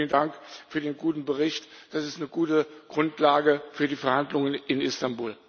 Enrique, vielen Dank für den guten Bericht, das ist eine gute Grundlage für die Verhandlungen in Istanbul.